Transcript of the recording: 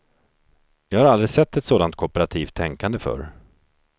Jag har aldrig sett ett sådant kooperativt tänkande förr.